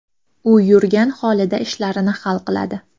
U yurgan holida ishlarini hal qiladi.